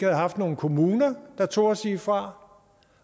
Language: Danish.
haft nogle kommuner der turde sige fra